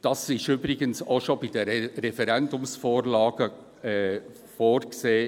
Das ist übrigens in Artikel 124 PRG auch schon bei den Referendumsvorlagen vorgesehen.